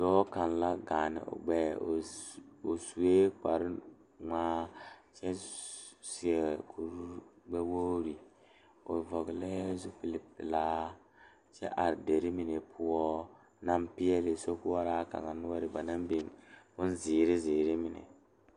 Dɔɔ kaŋa la gaane o gbɛɛ o suɛ kpare ŋmaa kyɛ seɛ kuri gbɛ wogre o vɔgle zupele pelaa kyɛ are dire mine poɔ naŋ pegle sokoɔraa kaŋa noɔre banaŋ biŋ bonziiri ziiri mine.